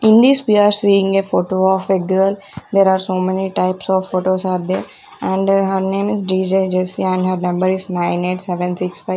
In this we are seeing a photo of a girl there are so many types of photos are there and her name is D_J jessie and her number is nine eight seven six five.